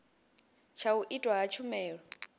tsha u itwa ha tshumelo